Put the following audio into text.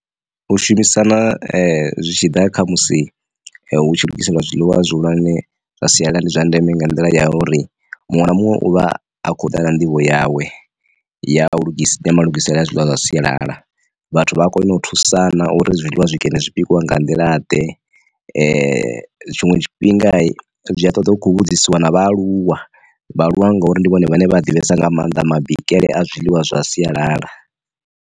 U shumisana zwi tshi ḓa kha musi hu tshi lugiswa nga zwiḽiwa zwihulwane zwa sialala ndi zwa ndeme nga nḓila ya uri, muṅwe na muṅwe uvha a kho uḓa na nḓivho yawe ya lugisela mulugisela zwiḽiwa zwa sialala vhathu vha a kona u thusana uri zwiḽiwa zwikene zwipikwa nga nḓila ḓe, tshinwe tshifhinga zwi a ṱoḓa hu khou vhudzisiwa na vhaaluwa vha aluwa ngauri ndi vhone vhane vha divhesesa nga maanḓa mabikele a zwiḽiwa zwa sialala.